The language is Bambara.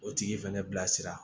O tigi fɛnɛ bilasira